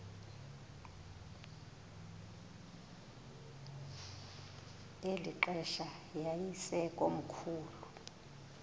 eli xesha yayisekomkhulu